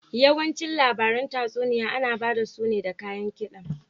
Yawanci labaran tatsuniya ana bada su ne da kayan kida.